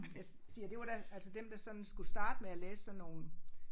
Jeg siger det var da altså dem der sådan skulle starte med at læse sådan nogle